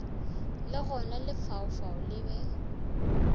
le gona lefaufau le be